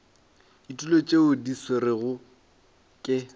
ditulo tšeo di swerwego ke